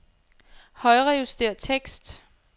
Højrejuster tekst.